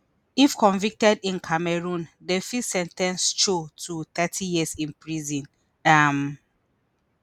if convicted in cameroon dem fit sen ten ce cho to thirty years in prison um